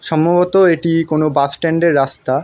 সম্ভবত এটি কোনো বাস স্ট্যান্ড -এর রাস্তা।